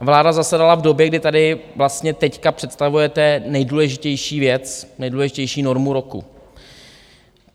A vláda zasedala v době, kdy tady vlastně teď představujete nejdůležitější věc, nejdůležitější normu roku.